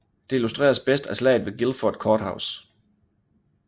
Det illustreres bedst af Slaget ved Guilford Courthouse